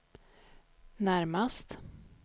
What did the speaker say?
närmast